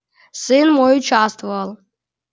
сын мой участвовал